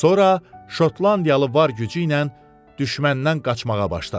Sonra Şotlandiyalı var gücü ilə düşməndən qaçmağa başladı.